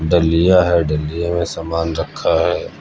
डलिया है डलिया में समान रखा है।